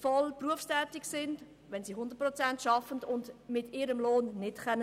voll berufstätig sind und nicht von ihrem Lohn leben können.